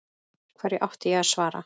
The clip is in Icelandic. Hverju átti ég að svara.